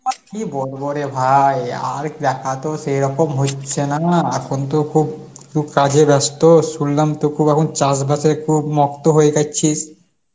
আর কী বলব রে ভাই, আর দেখাতো সেরকম হচ্ছে না এখন তো খুব, খুব কাজে ব্যস্ত, শুনলাম তো খুব এখন চাষবাসে খুব মক্ত হয়ে গেছিস.